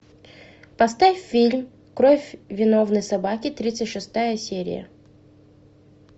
поставь фильм кровь виновной собаки тридцать шестая серия